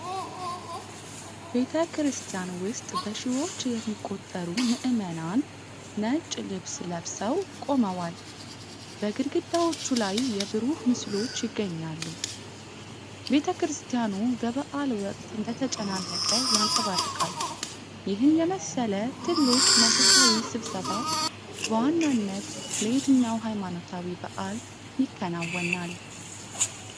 ቤተ ክርስቲያን ውስጥ በሺዎች የሚቆጠሩ ምእመናን ነጭ ልብስ ለብሰው ቆመዋል። በግድግዳዎቹ ላይ የብሩህ ምስሎች ይገኛሉ፤ ቤተ ክርስቲያኑ በበዓል ወቅት እንደተጨናነቀ ያንፀባርቃል። ይህን የመሰለ ትልቅ መንፈሳዊ ስብሰባ በዋናነት ለየትኛው ሃይማኖታዊ በዓል ይከናወናል?